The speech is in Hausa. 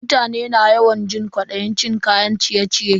Mutane na yawan jin kwadayin cin kayan ciye-ciye.